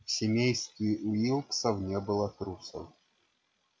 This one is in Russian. в семействе уилксов не было трусов